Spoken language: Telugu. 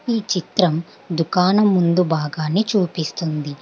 ఈ చిత్రం దుకాణం ముందు భాగాన్ని చూపిస్తుంది.